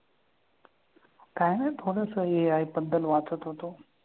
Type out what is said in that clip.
काय नाही थोडंसं AI बद्दल वाचत होतो.